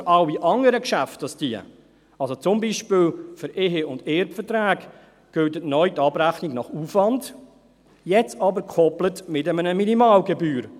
Für alle anderen Geschäfte, also zum Beispiel für Ehe- und Erbverträge, gilt neu die Abrechnung nach Aufwand, jetzt aber gekoppelt mit einer Minimalgebühr.